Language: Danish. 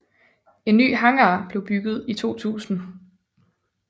En ny hangar blev bygget i 2000